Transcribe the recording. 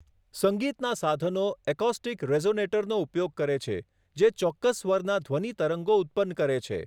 સંગીતનાં સાધનો એકોસ્ટિક રેઝોનેટરનો ઉપયોગ કરે છે જે ચોક્કસ સ્વરના ધ્વનિ તરંગો ઉત્પન્ન કરે છે.